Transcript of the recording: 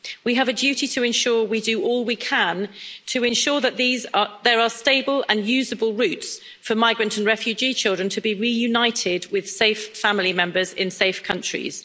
We have a duty to ensure we do all we can to ensure that there are stable and usable routes for migrant and refugee children to be reunited with safe family members, in safe countries.